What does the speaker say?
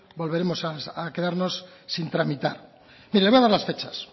volveremos a quedarnos sin tramitar mire le voy a dar las fechas